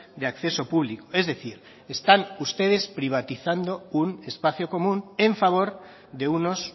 de acceso público es decir están ustedes privatizando un espacio común en favor de unos